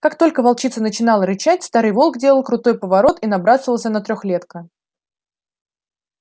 как только волчица начинала рычать старый волк делал крутой поворот и набрасывался на трёхлетка